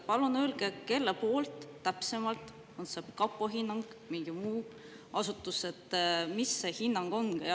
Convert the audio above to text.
Palun öelge, kelle see täpsemalt on, on see kapo hinnang või mingi muu asutuse oma, ja mis see hinnang on.